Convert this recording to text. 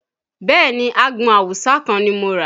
Bẹẹ ni, àgbọn awùsá kan ni mo rà